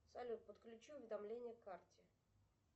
салют подключи уведомления к карте